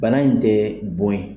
Bana in tɛ bon ye.